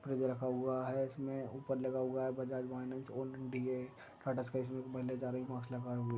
freeze रखा हुआ है इसमें ऊपर लगा हुआ है बजाज-फाइनेंस ओल्ड टाटा-स्काई